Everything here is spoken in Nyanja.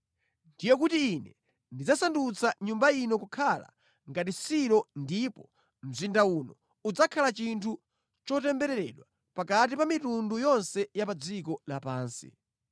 ndiye kuti Ine ndidzasandutsa Nyumba ino kukhala ngati Silo ndipo mzinda uno udzakhala chinthu chotembereredwa pakati pa mitundu yonse ya pa dziko lapansi.’ ”